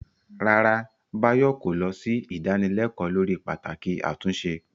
Rárá, Bayo kò lọ sí ìdánilẹ́kọ̀ọ́ lórí pàtàkì àtúnṣe.